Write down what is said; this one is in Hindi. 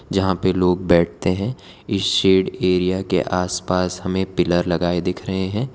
जहां पर लोग बैठते हैं इस शेड एरिया के आसपास हमें पिलर लगाए दिख रहे हैं।